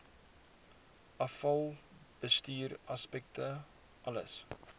afvalbestuur aspekte alles